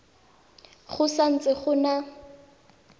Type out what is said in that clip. go sa ntse go na